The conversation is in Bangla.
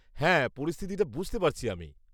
হ্যাঁ, পরিস্থিতিটা বুঝতে পারছি আমি।